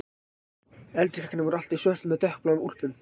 Eldri krakkarnir voru alltaf í svörtum eða dökkbláum úlpum